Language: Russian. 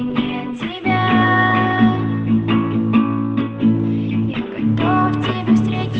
цифрами